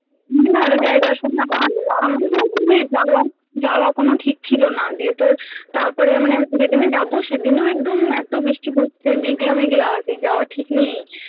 না রে শোন না যাওয়া কোনো ঠিক ছিল না দিয়ে তোর তারপরে মানে যেদিনই যাবো সেদিনও একদম এতো বৃষ্টি পড়ছে মেঘলা মেঘলা সেই যাওয়া ঠিক নেই